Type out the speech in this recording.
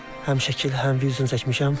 Həm şəkil, həm video çəkmişəm.